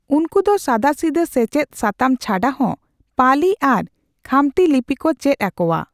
ᱩᱱᱠᱩ ᱫᱚ ᱥᱟᱫᱟᱥᱤᱫᱟᱹ ᱥᱮᱪᱮᱫ ᱥᱟᱛᱟᱢ ᱪᱷᱟᱰᱟ ᱦᱚᱸ ᱯᱟᱹᱞᱤ ᱟᱨ ᱠᱷᱟᱢᱛᱤ ᱞᱤᱯᱤ ᱠᱚ ᱪᱮᱫ ᱟᱠᱚᱣᱟ ᱾